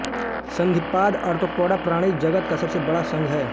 सन्धिपाद arthropoda प्राणी जगत का सबसे बड़ा संघ है